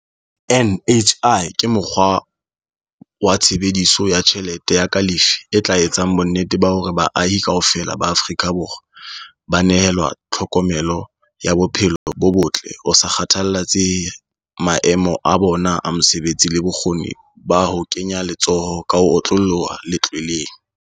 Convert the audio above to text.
NHI ke mokgwa wa tshebe diso ya tjhelete ya kalafi e tla etsang bonnete ba hore baahi kaofela ba Aforika Borwa ba nehelwa tlhokomelo ya bophe lo bo botle ho sa kgathalletse he maemo a bona a mosebetsi le bokgoni ba ho kenya letso ho ka ho otlolloha letlweleng.